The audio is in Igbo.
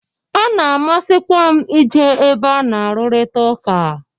Ọ na-amasikwa m i je ebe a na-arurita ụka.